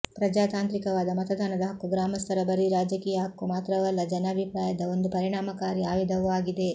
ಪ್ರಜಾತಾಂತ್ರಿಕವಾದ ಮತದಾನದ ಹಕ್ಕು ಗ್ರಾಮಸ್ಥರ ಬರೀ ರಾಜಕೀಯ ಹಕ್ಕು ಮಾತ್ರವಲ್ಲ ಜನಾಭಿಪ್ರಾಯದ ಒಂದು ಪರಿಣಾಮಕಾರಿ ಆಯುಧವೂ ಆಗಿದೆ